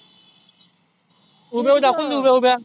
उभ्या उभ्या दाखवून देऊ उभ्या उभ्या.